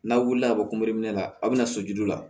N'a wulila ka bɔ kunbe la aw bɛna so julu la